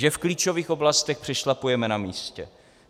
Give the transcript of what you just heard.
Že v klíčových oblastech přešlapujeme na místě.